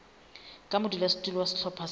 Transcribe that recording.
ka modulasetulo wa sehlopha sa